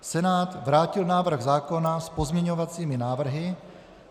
Senát vrátil návrh zákona s pozměňovacími návrhy.